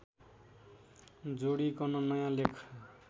जोडिकन नयाँ लेख